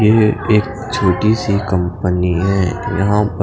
ये एक छोटी सी कंपनी हे यहाँ पर--